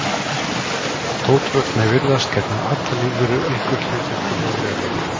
Þótt ótrúlegt megi virðast gegna allar lífverur einhverju hlutverki hér á jörðinni.